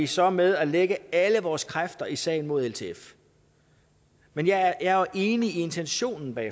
så med at lægge alle vores kræfter i sagen mod ltf men jeg er enig i intentionen bag